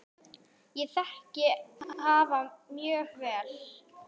Ég þekki hafa mjög vel.